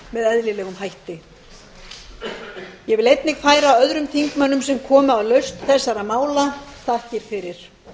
eðlilegum hætti ég vil einnig færa öðrum þingmönnum sem komu að lausn þessara mála þakkir fyrir